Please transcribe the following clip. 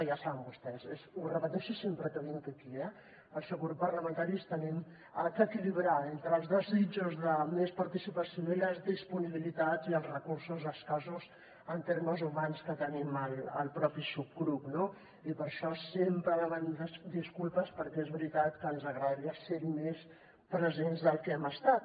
ja saben vostès ho repeteixo sempre que vinc aquí el subgrup parlamentari hem d’equilibrar entre els desitjos de més participació i les disponibilitats i els recursos escassos en termes humans que tenim al mateix subgrup no i per això sempre demano disculpes perquè és veritat que ens agradaria ser més presents del que hem estat